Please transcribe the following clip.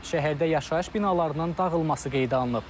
Şəhərdə yaşayış binalarının dağılması qeydə alınıb.